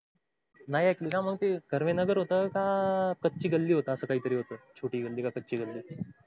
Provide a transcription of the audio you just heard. नाही एकली ना मग ते कर्वे नगर होतें का कच्ची गल्ली होत अस काही तरी होत छोटी गल्ली का कच्ची गल्ली अस काहीतरी अ ते अ